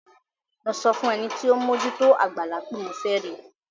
Lọ sọ fún ẹni tí ó ń mójú tó àgbàlá pé mo fẹ́ rí i.